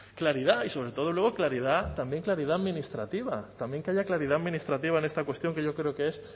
claridad y sobre todo luego claridad también claridad administrativa también que haya claridad administrativa en esta cuestión que yo creo que es